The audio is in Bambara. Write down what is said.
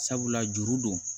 Sabula juru don